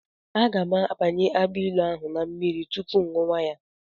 Aga m abanye agbailu ahụ na mmiri tupu ṅụwa ya.